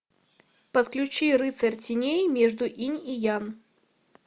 подключи рыцарь теней между инь и янь